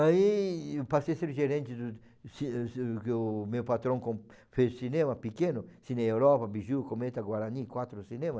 Aí eu passei a ser gerente do ci ci... Porque o meu patrão com fez cinema pequeno, Cine Europa, Biju, Cometa, Guarani, quatro cinema.